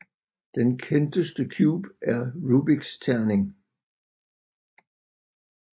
Den kendteste cube er Rubiks terning